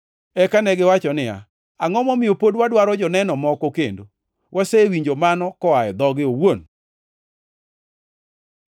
Eka negiwacho niya, “Angʼo momiyo pod wadwaro joneno moko kendo? Wasewinjo mano koa e dhoge owuon.”